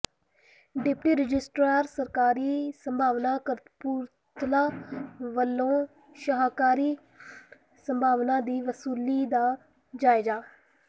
deputy registrar ਸਹਿਕਾਰੀ ਸਭਾਵਾਂ ਕਪੂਰਥਲਾ ਵਲੋਂ ਸਹਿਕਾਰੀ ਸਭਾਵਾਂ ਦੀ ਵਸੂਲੀ ਦਾ ਜਾਇਜ਼ਾ